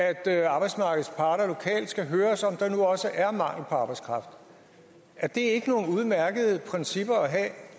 er at arbejdsmarkedets parter lokalt skal høres om der nu også er mangel på arbejdskraft er det ikke nogle udmærkede principper at have